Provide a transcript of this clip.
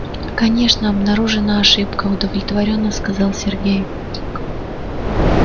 конечно обнаружена ошибка удовлетворённо сказал сергей